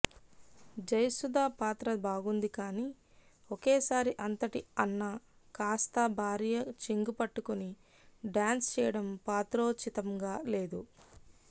జయసుధ పాత్ర బాగుంది కానీ ఒకేసారి అంతటి అన్న కాస్తా భార్య చెంగు పట్టుకుని డాన్స్ చేయడం పాత్రోచితంగా లేదు